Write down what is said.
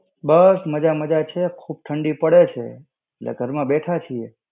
બસ મજા-મજા છે. ખુબ ઠંડી પડે છે. એટલે ઘરમાં બેઠા છે.